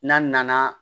N'a nana